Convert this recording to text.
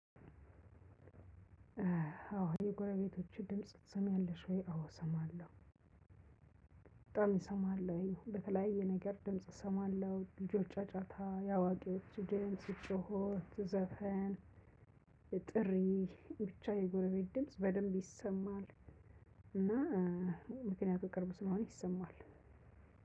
አዎ የጎረቤቶችሽን ድምጽ ትሰምያለሽ ወይ? አዎ እሰማለሁ። በጣም እሰማለሁኝ በተለያየ ነገር ድምጽ እሰማለሁ። የልጆች ጫጫታ ያዋቂዎች ድምጽ፤ ጮኸት፤ ዘፈን፤ ጥሪ ብቻ የጎረቤት ድምጽ በደንብ ይሰማል። እና ምክንያቱም ቅርብ ስለሆነ ይሰማል።